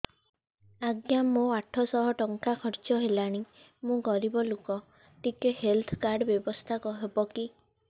ଆଜ୍ଞା ମୋ ଆଠ ସହ ଟଙ୍କା ଖର୍ଚ୍ଚ ହେଲାଣି ମୁଁ ଗରିବ ଲୁକ ଟିକେ ହେଲ୍ଥ କାର୍ଡ ବ୍ୟବସ୍ଥା ହବ କି